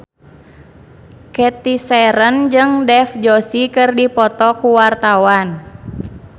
Cathy Sharon jeung Dev Joshi keur dipoto ku wartawan